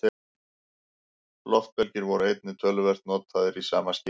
Loftbelgir voru einnig töluvert notaðir í sama skyni.